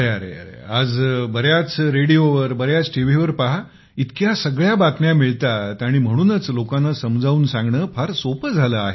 अरेरे आज बऱ्याच रेडिओवर बऱ्याच टीव्ही वर पहा इतक्या सगळ्या बातम्या मिळतात आणि म्हणूनच लोकांना समजावून सांगणे फार सोपे झाले आहे